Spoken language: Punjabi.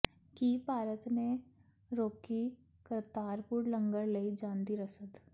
ਕੀ ਭਾਰਤ ਨੇ ਰੋਕੀ ਕਰਤਾਰਪੁਰ ਲੰਗਰ ਲਈ ਜਾਂਦੀ ਰਸਦ